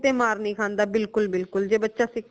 ਕੀਤੇ ਮਾਰ ਨੀ ਖਾਂਦਾ ਬਿਲਕੁਲ ਬਿਲਕੁਲ ਜੇ ਬੱਚਾ ਸਿੱਖਣ